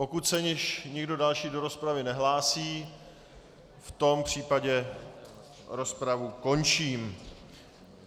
Pokud se již nikdo další do rozpravy nehlásí, v tom případě rozpravu končím.